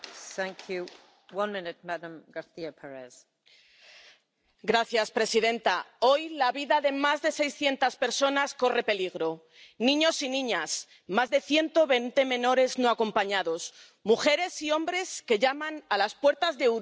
Señora presidenta, hoy la vida de más de 600 personas corre peligro niños y niñas —más de 120 menores no acompañados—, mujeres y hombres que llaman a las puertas de Europa huyendo de la guerra y del hambre.